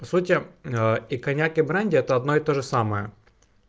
по сути и коньяк и бренди это одно и то же самое